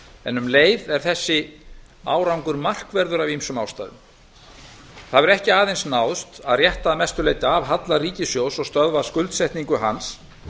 en um leið er þessi árangur markverður af ýmsum ástæðum það hefur ekki aðeins náðst að rétta að mestu leyti af halla ríkissjóðs og stöðva skuldsetningu hans